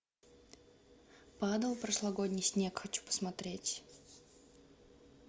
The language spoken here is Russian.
падал прошлогодний снег хочу посмотреть